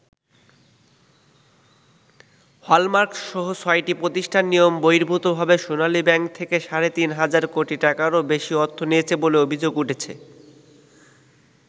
Hallmark সহ ছয়টি প্রতিষ্ঠান নিয়মবহির্ভূতভাবে সোনালী ব্যাংক থেকে সাড়ে তিন হাজার কোটি টাকারও বেশি অর্থ নিয়েছে বলে অভিযোগ উঠেছে।